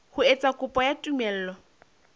ho etsa kopo ya tumello